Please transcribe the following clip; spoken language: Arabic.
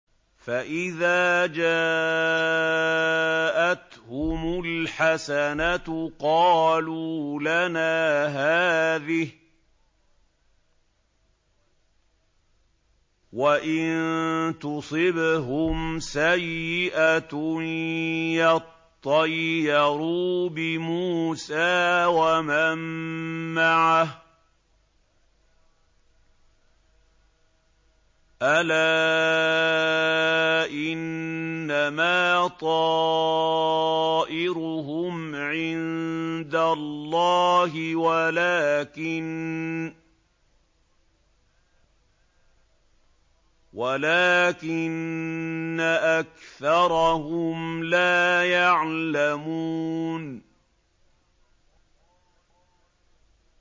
فَإِذَا جَاءَتْهُمُ الْحَسَنَةُ قَالُوا لَنَا هَٰذِهِ ۖ وَإِن تُصِبْهُمْ سَيِّئَةٌ يَطَّيَّرُوا بِمُوسَىٰ وَمَن مَّعَهُ ۗ أَلَا إِنَّمَا طَائِرُهُمْ عِندَ اللَّهِ وَلَٰكِنَّ أَكْثَرَهُمْ لَا يَعْلَمُونَ